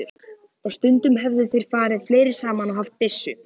Og stundum höfðu þeir farið fleiri saman og haft byssu.